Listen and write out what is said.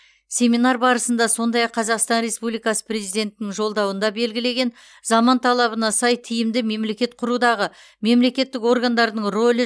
семинар барысында сондай ақ қазақстан республикасы президентінің жолдауында белгілеген заман талабына сай тиімді мемлекет құрудағы мемлекеттік органдардың рөлі